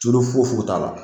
Tulu foyi foyi t'a la